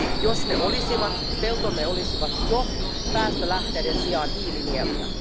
Jos ne olisivat, peltomme olisivat jo päästölähteiden sijaan hiilinieluja.